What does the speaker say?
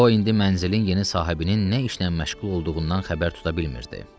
O indi mənzilin yeni sahibinin nə işlə məşğul olduğundan xəbər tuta bilmirdi.